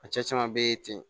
A cɛ caman be ye ten